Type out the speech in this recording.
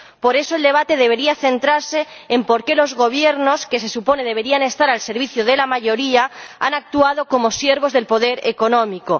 Por eso, el debate debería centrarse en por qué los gobiernos —que se supone deberían estar al servicio de la mayoría— han actuado como siervos del poder económico.